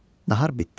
Nahar bitdi.